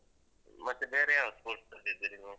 ಮತ್ತೆ ಬೇರೆ ಯಾವ್ದು sports ಅಲ್ಲಿದ್ದೀರಿ ನೀವು?